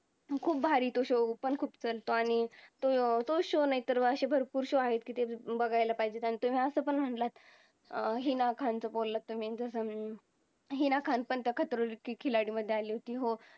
पण खुप भारी तो show चालतो आणि तो show नाहीतर असे भरपूर show आहेत कि ते बघायला पाहिजे आणि तुम्ही असं पण म्हंटला अं हिना खानचं बोलला तुम्ही जण कि हिना खान पण त्या खतरो के खिलाडी मध्ये आली होती